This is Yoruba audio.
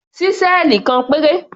Ṣísẹ́ẹ̀lì kan péré.